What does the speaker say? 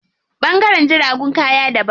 Ɓangaren jiragun kaya daban.